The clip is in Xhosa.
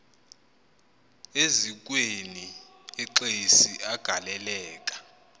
eziukweni exesi agaleleka